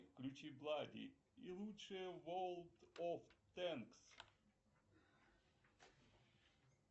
включи влади и лучшее ворлд оф тэнкс